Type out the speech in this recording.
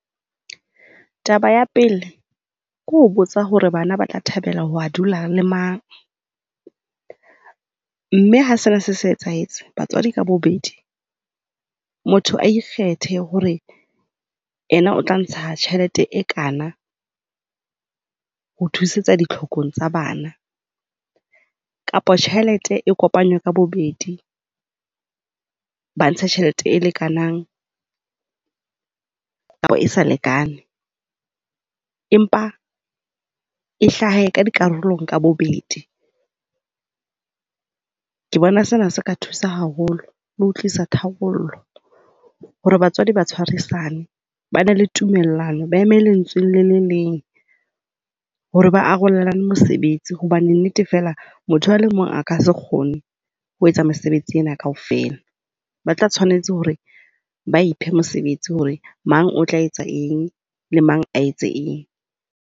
Taba ya pele ke ho botsa hore bana ba tla thabela ho ya dula le mang. Mme ha sena se se etsahetse, batswadi ka bobedi, motho a ikgethe hore yena o tla ntsha tjhelete e kana ho thusetsa ditlhokong tsa bana kapa tjhelete e kopanywe ka bobedi. Ba ntshe tjhelete e lekanang le ha e sa lekane empa e hlahe ka dikarolong ka bobedi. Ke bona sena se ka thusa haholo le ho tlisa tharollo hore batswadi ba tshwarisane. Ba be le tumellano. Ba eme lentsweng le le leng hore ba arolelane mosebetsi hobane nnete fela motho a le mong a ka se kgone ho etsa mesebetsi ena kaofela. Ba tla tshwanetse hore ba iphe mosebetsi hore mang o tla etsa eng le mang a etse eng.